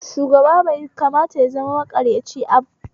Shugaba bai kamata ya zama makaryaci ab